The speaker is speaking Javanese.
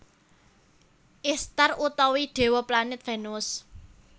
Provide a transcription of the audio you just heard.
Ishtar utawi dewa Planet Venus